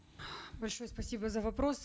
большое спасибо за вопрос